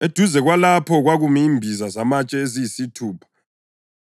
Eduze kwalapho kwakumi imbiza zamatshe eziyisithupha,